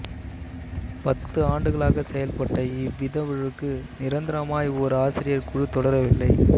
பத்து ஆண்டுகளாகச் செயல்பட்ட இவ்விதழுக்கு நிரந்தரமாய் ஓர் ஆசிரியர் குழு தொடரவில்லை